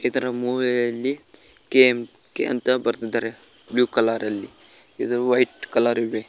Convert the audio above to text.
ಇದರ ಮೂವೆಯಲ್ಲಿ ಕೆ_ಎಂ_ಕೆ ಅಂತ ಬರ್ತಿದ್ದಾರೆ ಬ್ಲೂ ಕಲರ್ ಅಲ್ಲಿ ಇದು ವೈಟ್ ಕಲರ್ ಇವೆ.